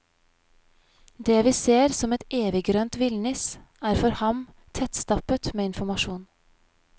Det vi ser som et eviggrønt villnis er for ham tettstappet med informasjon.